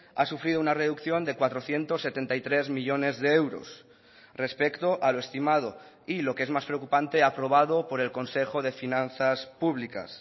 ha sufrido una reducción de cuatrocientos setenta y tres millónes de euros respecto a lo estimado y lo que es más preocupante aprobado por el consejo de finanzas públicas